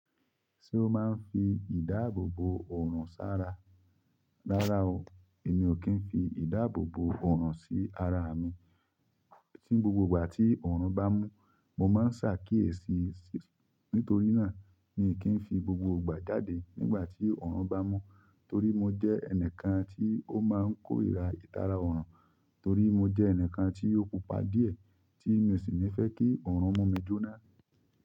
Ṣé o máa ń fi ìdáàbòbò ọ̀ràn ṣára? Rárá o, èmi ò kí ń fi ìdáàbòbò ọ̀ràn sí ara mi. Tí gbogbo ìgbà tí ọ̀ràn bá mú, mo máa ń ṣà kí èéṣí. Nít'orí náà, mi ò kí ń fi gbogbo ìgbà jáde nígbà tí òòrùn bá mú. Torí mo jẹ́ ẹnìkan tí ó máa ń kórìíra ìtara òòrùn, torí mo jẹ́ ẹnìkan tí ó pupa díẹ̀ tí mi ò sì ní fẹ́ kí òòrùn mú mi jóná.